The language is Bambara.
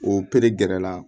O pere gɛrɛ la